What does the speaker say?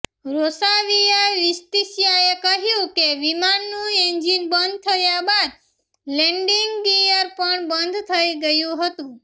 રોસાવિયાવિત્સિયાએ કહ્યું કે વિમાનનું એન્જિન બંધ થયા બાદ લેન્ડિંગ ગિયર પણ બંધ થઇ ગયું હતુ